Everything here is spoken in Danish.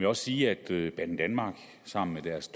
også sige at banedanmark sammen med deres